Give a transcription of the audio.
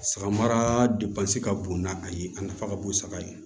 Saga mara ka bon n'a a ye a nafa ka bon saga ye